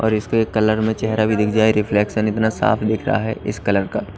और इसका एक कलर में चेहरा भी दिख जाए रिफ्लेक्शन इतना साफ दिख रहा है इस कलर का--